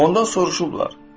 Ondan soruşublar: